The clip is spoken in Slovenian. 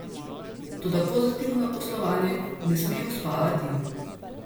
Toda pozitivno poslovanje ne sme uspavati.